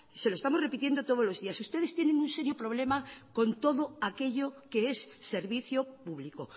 se lo estamos repitiendo todos los días ustedes tienen un serio problema con todo aquello que es servicio público